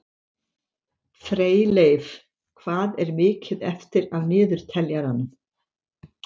Freyleif, hvað er mikið eftir af niðurteljaranum?